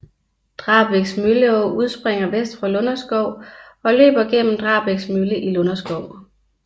Drabæks Mølleå udspringer vest for Lunderskov og løber gennem Drabæks Mølle i Lunderskov